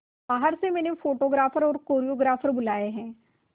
बाहर से मैंने फोटोग्राफर और कोरियोग्राफर बुलाये है